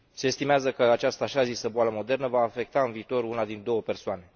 Se estimează că această așa zisă boală modernă va afecta în viitor una din două persoane.